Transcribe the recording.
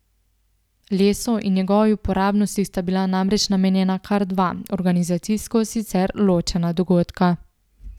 Lesu in njegovi uporabnosti sta bila namreč namenjena kar dva, organizacijsko sicer ločena dogodka.